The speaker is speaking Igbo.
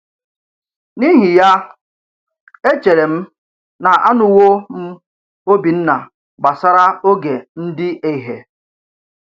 N’ìhì yà, èchèrè m nà ànùwò m Òbìnna gbàsàrà ògè ndí èhè.